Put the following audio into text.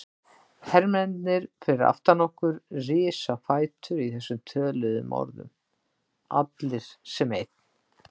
Hermennirnir fyrir aftan okkur risu á fætur í þessum töluðum orðum, allir sem einn.